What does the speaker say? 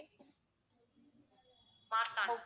Marthandam